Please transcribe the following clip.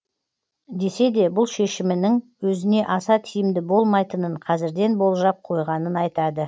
десе де бұл шешімінің өзіне аса тиімді болмайтынын қазірден болжап қойғанын айтады